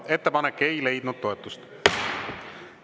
Ettepanek ei leidnud toetust.